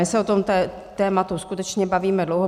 My se o tom tématu skutečně bavíme dlouho.